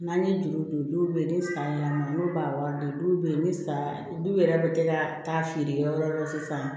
N'an ye dugu don dɔw be yen ni san y'an ma n'u b'a wari di dɔw be yen ni san du yɛrɛ bi kɛ ka taa feerekɛ yɔrɔ la sisan